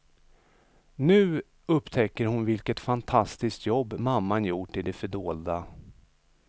Nu upptäcker hon vilket fantastiskt jobb mamman gjort i det fördolda.